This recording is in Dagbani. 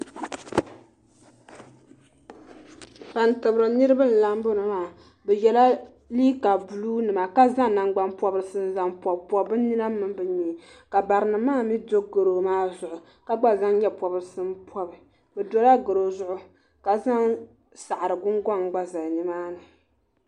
Ban tibiri nitiba n lahi biɛni maa bɛ yela liiga buluu nima ka zaŋ nangban pobrisi n zaŋ pobi n pobi bɛ nina mini bɛ nyee ka barinima maa mee do goro maa zuɣu ka gba zaŋ nyɛ pobrisi m pobi o dola goro zuɣu ka zaŋ saɣari gungoŋ gba zali nimaani.